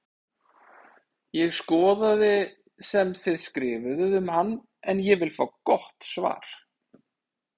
Ég skoðaði sem þið skrifuðuð um hann en ég vil fá gott svar!